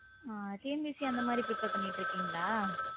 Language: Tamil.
டிஎன்பிசி அந்த மாதிரி prepare பண்ணிட்டு இருக்கீங்களா?